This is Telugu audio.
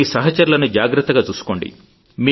మీ సహచరులను జాగ్రత్తగా చూసుకోండి